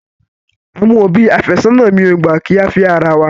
Àwọn òbí àfẹ́sónà mi ò gbà kí á fẹ́ ara wa.